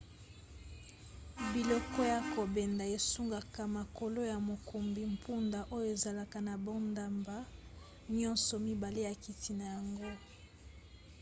biloko ya kobenda esungaka makolo ya mokumbi mpunda oyo ezalaka na bandambo nyonso mibale ya kiti na yango